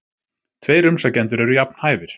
Tveir umsækjendur eru jafn hæfir.